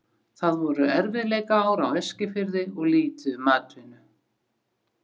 Það voru erfiðleikaár á Eskifirði og lítið um atvinnu.